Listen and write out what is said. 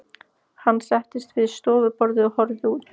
Hann settist við stofuborðið og horfði út.